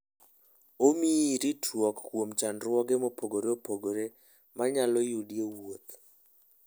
Omiyi ritruok kuom chandruoge mopogore opogore manyalo yudi e wuoth.